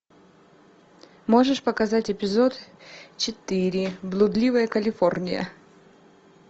можешь показать эпизод четыре блудливая калифорния